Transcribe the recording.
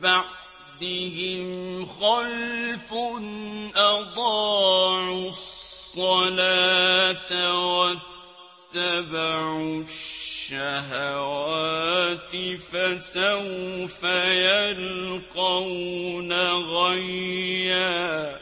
بَعْدِهِمْ خَلْفٌ أَضَاعُوا الصَّلَاةَ وَاتَّبَعُوا الشَّهَوَاتِ ۖ فَسَوْفَ يَلْقَوْنَ غَيًّا